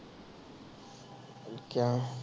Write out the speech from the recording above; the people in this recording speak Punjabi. ਅਮ ਕਿਉਂ